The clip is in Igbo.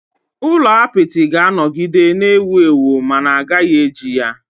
Ụlọ apịtị ga-anọgide na-ewu ewu ma a gaghị eji ya.